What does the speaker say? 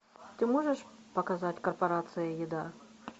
ты можешь показать корпорация еда